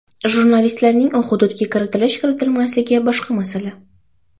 Jurnalistlarning u hududga kiritilish-kiritilmasligini boshqa masala.